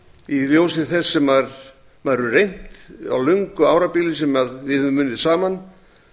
í ljósi þess sem maður hefur reynt á löngu árabili sem við höfum unnið saman